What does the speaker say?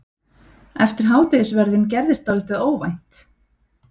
Eftir hádegisverðinn gerðist dálítið óvænt.